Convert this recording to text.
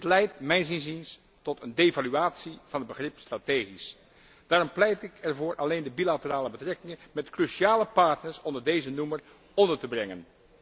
Dit leidt mijns inziens tot een devaluatie van het begrip strategisch. Daarom pleit ik ervoor alleen de bilaterale betrekkingen met cruciale partners onder deze noemer onder te brengen.